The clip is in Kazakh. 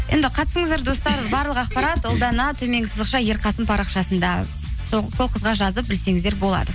енді қатысыңыздар достар барлық ақпарат ұлдана төменгі сызықша ерқасын парақшасында сол қызға жазып білсеңіздер болады